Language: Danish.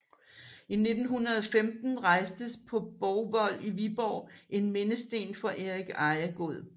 I 1915 rejstes på Borgvold i Viborg en mindesten for Erik Ejegod